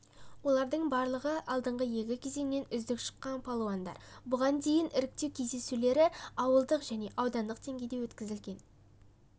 олардың барлығыалдыңғы екі кезеңнен үздік шыққан палуандар бұған дейін іріктеу кездесулері ауылдық және аудандық деңгейде өткізілген